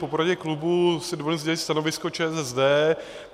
Po poradě klubu si dovoluji sdělit stanovisko ČSSD.